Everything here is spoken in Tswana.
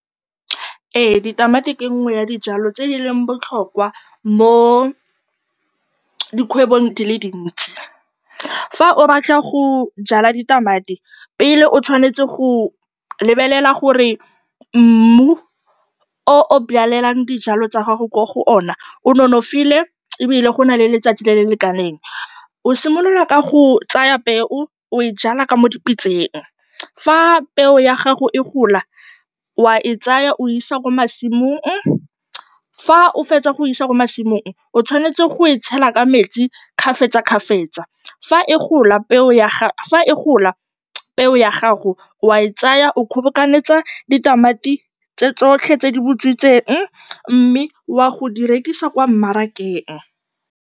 Ee, ditamati ke nngwe ya dijwalo tse di leng botlhokwa mo dikgwebong di le dintsi. Fa o batla go jwala ditamati, pele o tshwanetse go lebelela gore mmu o o jwalang dijalo tsa gago mo go ona o nonofile ebile go na le letsatsi le le lekaneng. O simolola ka go tsaya peo o e jwala mo dipitseng. Fa peo ya gago e gola o a e tsaya, o e isa kwa masimong. Fa o fetsa go e isa kwa masimong, o tshwanetse go e tshela ka metsi kgafetsakgafetsa. Fa e gola, peo ya gago o a e tsaya, o kgobokantsa ditamati tse tsotlhe tse di butswitseng mme o ya go di rekisa kwa mmarakeng.